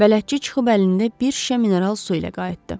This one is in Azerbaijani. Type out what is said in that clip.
Bələdçi çıxıb əlində bir şüşə mineral su ilə qayıtdı.